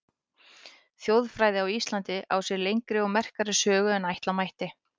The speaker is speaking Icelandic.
Þjóðfræði á Íslandi á sér lengri og merkari sögu en ætla mætti.